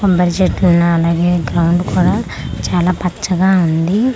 కొబ్బరి చెట్టు ఉన్నాయ్ అలాగే గ్రౌండు కుడా చాలా పచ్చగా ఉంది.